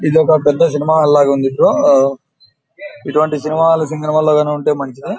ఇది ఒక పెద్ద సినిమా హాల్ లాగ ఉంది బ్రో . ఇటువంటి సినిమా హాల్ ఉంటె మంచిది.